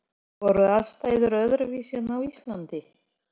Voru aðstæður öðruvísi en á Íslandi?